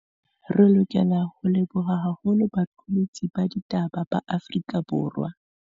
Re lokela ho leboha haholo baqolotsi ba ditaba ba Afrika.